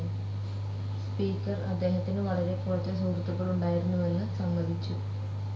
Speaker അദ്ദേഹത്തിനു വളരെ കുറച്ച് സുഹൃത്തുക്കളുണ്ടായിരുന്നുവെന്ന് സമ്മതിച്ചു.